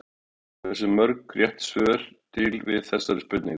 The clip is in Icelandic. Hvað eru mörg rétt svör til við þessari spurningu?